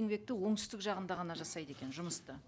еңбекті оңтүстік жағында ғана жасайды екен жұмысты